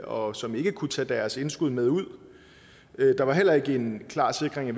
og som ikke kunne tage deres indskud med ud der var heller ikke en klar sikring